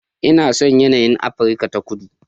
Ina son yanayin Afirka ta Kudu